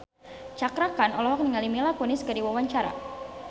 Cakra Khan olohok ningali Mila Kunis keur diwawancara